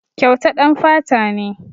Kyauta ɗan fata ne.